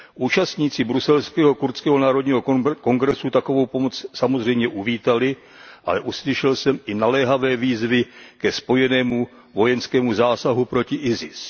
Účastníci bruselského Kurdského národního kongresu takovou pomoc samozřejmě uvítali, ale uslyšel jsem i naléhavé výzvy ke spojenému vojenskému zásahu proti ISIS.